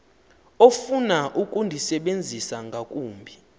ofuna ukundisebenzisa ngakumbi